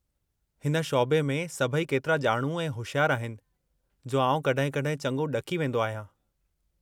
हिन शौबे में सभई केतिरा ॼाणू ऐं होशियारु आहिनि, जो आउं कॾहिं कॾहिं चङो ॾकी वेंदो आहियां।